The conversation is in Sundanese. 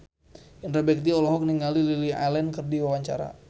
Indra Bekti olohok ningali Lily Allen keur diwawancara